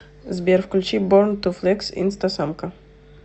сбер включи борн ту флекс инстасамка